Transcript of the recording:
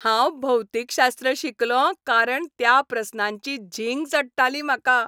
हांव भौतीकशास्त्र शिकलों कारण त्या प्रस्नांची झिंग चडटाली म्हाका.